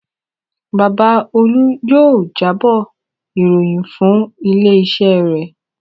Bàbá Olú yóò jábọ̀ ìròyìn fún ilé-iṣẹ́ rẹ̀.